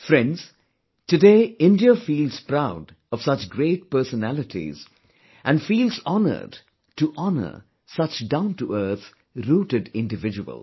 Friends, today India feels proud of such great personalities and feels honoured to honour such down to earth, rooted individuals